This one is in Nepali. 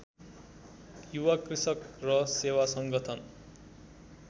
युवा कृषक र सेवा संगठन